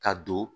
Ka don